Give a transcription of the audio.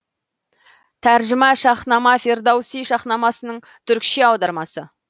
тәржіма шаһнама фердоуси шаһнамасының түркіше аудармасы